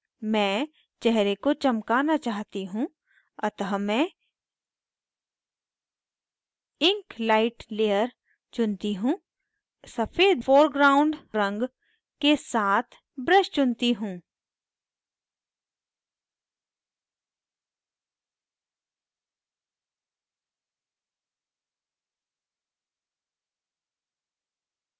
मैं चेहरे को चमकाना चाहती हूँ अतः मैं ink light layer चुनती हूँ सफ़ेद foreground ink के साथ brush चुनती हूँ